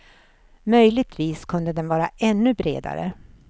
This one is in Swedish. Möjligtvis kunde den vara ännu bredare.